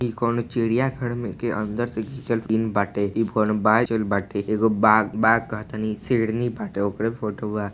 इ कोनो चिड़ियाघर में के अंदर से घिचल सीन बाटे इ घर में एगो बाघ बाघ कहातानी शेरनी बाटे ओकरे फोटो बा।